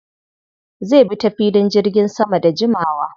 Zai bi ta filin jirgin sama da jimawa.